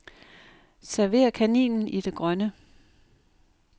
Server kaninen i det grønne.